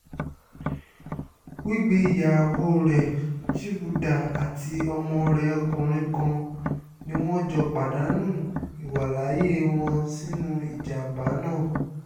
wígbé ìyàwó rẹ̀ chibuda àti ọmọ rẹ̀ ọkùnrin kan ni wọ́n jọ pàdánù ìwàláàyè wọn sínú ìjàm̀bá náà